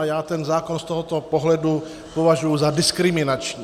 A já ten zákon z tohoto pohledu považuji za diskriminační.